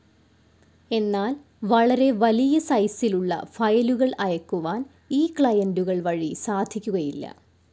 എന്നാൽ വളരെ വലിയ സൈസിലുള്ള ഫയലുകൾ അയക്കുവാൻ ഈ ക്ലയന്റുകൾ വഴി സാധിക്കുകയില്ല.